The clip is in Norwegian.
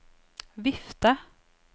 vifte